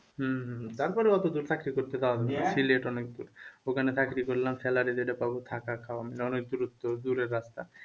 হম হম তারপরে অথচ চাকরি করতে যাওয়া নয় সিলেট অনেক দূর। ওখানে চাকরি করলাম salary যেটা পাবো থাকা খাওন দাওনের দূরত্ব দূরের রাস্তা।